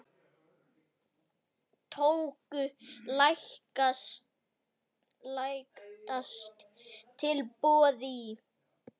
Tóku lægsta tilboði í.